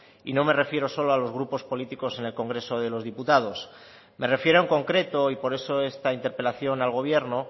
y no me refiero solo a los grupos políticos en el congreso de los diputados me refiero en concreto y por eso esta interpelación al gobierno